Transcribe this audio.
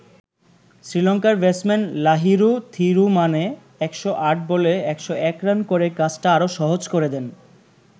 শ্রীলংকার ব্যাটসম্যান লাহিরু থিরুমানে ১০৮ বলে ১০১ রান করে কাজটা আরো সহজ করে দেন।